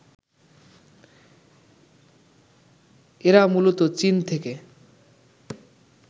এরা মূলত চীন থেকে